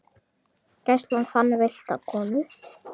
Gæslan fann villta konu